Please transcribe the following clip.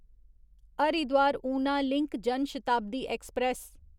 Haridwar Una link Janshatabdi express